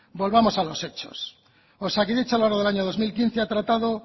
volvamos a los hechos osakidetza a lo largo del año dos mil quince ha tratado